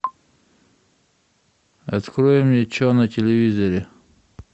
открой мне че на телевизоре